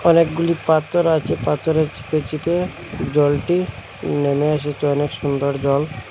অনেকগুলি পাতর আছে পাথরে চিপে চিপে জলটি নেমে এসেছে অনেক সুন্দর জল।